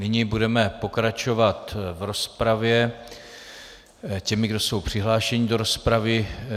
Nyní budeme pokračovat v rozpravě těmi, kdo jsou přihlášeni do rozpravy.